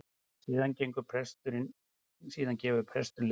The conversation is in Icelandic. Síðan gefur presturinn leiðbeiningar